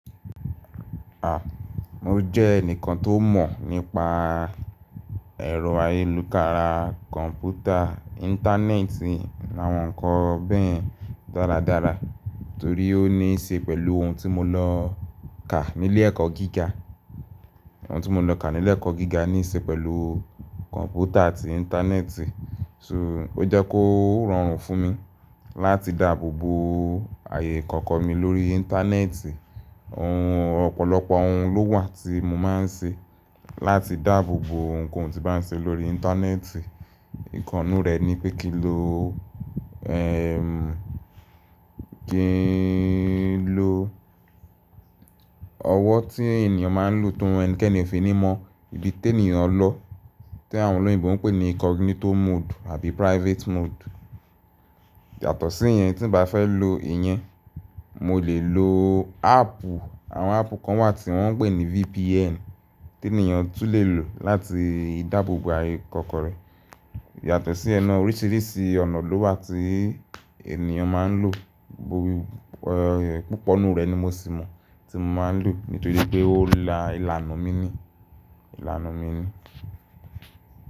A, mo jẹ́ ẹnìkan tó mọ̀ nípa ẹ̀rọ ayélunkara, kọ̀ǹpútà, Íńtánẹ́ẹ̀tì làwọn nǹkan bẹ́ẹ̀ dáradára torí ó níí ṣe pẹ̀lú ohun tí mo lọ kà nílé ẹ̀kọ́ gíga. Ohun tí mo lọ kà nílé ẹ̀kọ́ gíga níí ṣe pẹ̀lú kọ̀ǹpútà àti Íńtánẹ́ẹ̀tì. So ó jẹ́ kó rọrùn fún mi láti dáàbò bo ààyè ìkọ̀kọ̀ mi lórí Íńtánẹ́ẹ̀tì. Ohun ọ̀pọ̀lọpọ̀ ohun ló wà tí mo máa ń ṣe láti dáàbò bo ohunkóhun tí bá ń ṣe lórí Íńtánẹ́ẹ̀tì. Ìkàn nnù rẹ̀ ni pé kí n lo, ẹ́m, kí n lo ọwọ́ tí ènìyàn máa ń lò tó mọ ẹnikẹ́ni fi ní mọ ibi tí ènìyàn lọ tí àwọn olóyìnbo ń pè ní incognito mode àbí private mode. Yàtọ̀ sí ìyẹn tí ń bá fẹ́ lo ìyẹn, mo lè lo áàpù. Àwọn áàpù kan wà tí wọ́n ń pè ní VPN tí ènìyàn tún lè lò láti dáàbò bo ààyè ìkọ̀kọ̀ rẹ. Yàtọ̀ sí iyẹn ná oríṣìíríṣìí ọ̀nà ló wà tí àwon ènìyàn máa ń lò. Púpọ̀ nù rẹ̀ ni mo sì mọ tí mo máa ń lò nítorí pé ó là ìlànà mi ni, ìlànà mi ni.